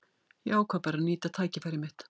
Ég ákvað bara að nýta tækifærið mitt.